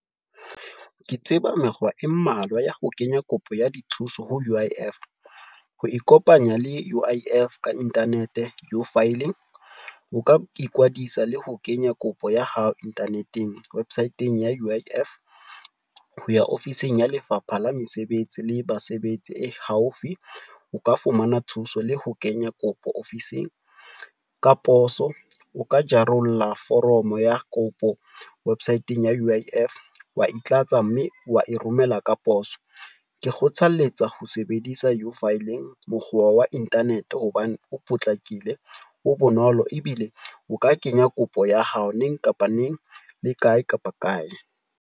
Ke tseba mekgwa e mmalwa ya ho kenya kopo ya dithuso ho U_I_F. Ho ikopanya le U_I_F ka internet U-filing, o ka ikwadisa le ho kenya kopo ya hao internet-eng websit-eng ya U_I_F, ho ya ofising ya Lefapha la Mesebetsi la Basebetsi e haufi, o ka fumana thuso le ho kenya kopo ofising ka poso. O ka jarolla foromo ya kopo website-ng ya U_I_F wa e tlatsa mme wa e romela ka poso. Ke kgothaletsa ho sebedisa U-filing mokgwa wa internet, hobane o potlakile, o bonolo ebile o ka kenya kopo ya hao neng kapa neng le kae kapa kae.